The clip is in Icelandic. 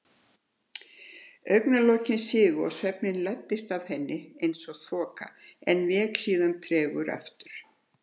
Augnalokin sigu og svefninn læddist að henni eins og þoka en vék síðan tregur aftur.